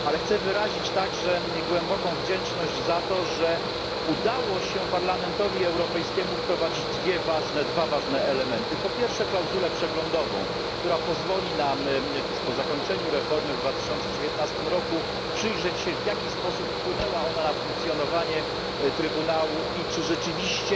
Ale chcę wyrazić także głęboką wdzięczność za to, że udało się Parlamentowi Europejskiemu wprowadzić dwa ważne elementy po pierwsze, klauzulę przeglądową, która pozwoli nam, tuż po zakończeniu reformy w 2019 roku, przyjrzeć się, w jaki sposób wpłynęła ona na funkcjonowanie Trybunału, i czy rzeczywiście